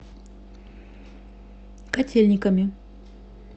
котельниками